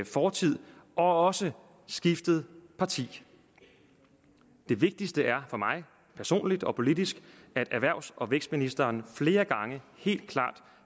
fortid og også skiftet parti det vigtigste er for mig personligt og politisk at erhvervs og vækstministeren flere gange helt klart